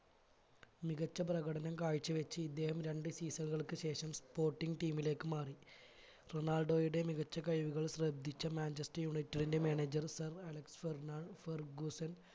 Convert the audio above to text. മികച്ച പ്രകടനം കാഴ്ച് വെച്ച് ഇദ്ദേഹം രണ്ട് FIFA കൾക്ക് ശേഷം sporting team ലേക്ക് മാറി റൊണാൾഡോയുടെ മികച്ച കഴിവുകൾ ശ്രദ്ധിച്ച manchester united ന്റെ manager sir അലക്സ് ഫെർണാൻ ഫെർഗുസൻ